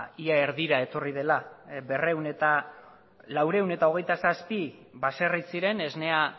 ia erdira etorri dela laurehun eta hogeita zazpi baserri ziren esnea